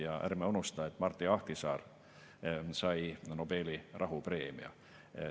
Ja ärme unustame, et Martti Ahtisaari sai Nobeli rahupreemia.